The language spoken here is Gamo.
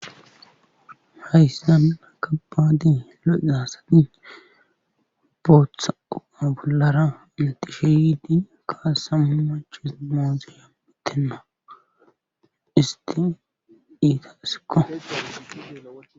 Hayssia aakka baadi lo7i daasati booththa upa bollara intishe yidi kaasa mu maches moozi yabbitenna isti iita isikko